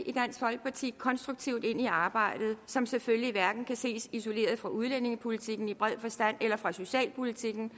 i dansk folkeparti konstruktivt ind i arbejdet som selvfølgelig hverken kan ses isoleret fra udlændingepolitikken i bred forstand eller fra socialpolitikken